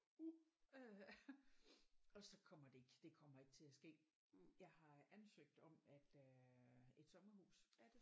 Uh øh og så kommer det ikke det kommer ikke til at ske jeg har ansøgt om at øh et sommerhus